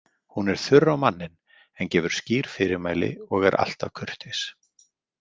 Hún er þurr á manninn en gefur skýr fyrirmæli og er alltaf kurteis.